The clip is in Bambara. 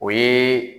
O ye